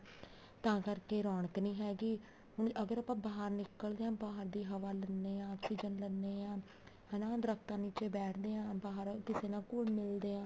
ਤਾਂ ਕਰਕੇ ਰੋਣਕ ਨੀ ਹੈਗੀ ਅਗਰ ਆਪਾਂ ਬਾਹਰ ਨਿੱਕਲਦੇ ਹਾਂ ਬਾਹਰ ਦੀ ਹਵਾ ਲੈਂਦੇ ਹਾਂ ਆਕਸੀਜਨ ਲੈਂਦੇ ਹਾਂ ਹਨਾ ਦਰਖਤਾਂ ਨੀਚੇ ਬੈਠਦੇ ਹਾਂ ਬਾਹਰ ਕਿਸੇ ਨਾਲ ਘੁਲ ਮਿਲਦੇ ਹਾਂ